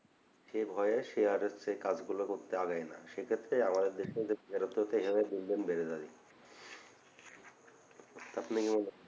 এ ভয়ে সে আর হচ্ছে কাজ গুলো করতে এগোয় না সেক্ষেত্রে আমাদের দেশে যে বেকারত্বতে এভাবে দিন দিন বেড়ে যাবে আপনি কি মনে করেন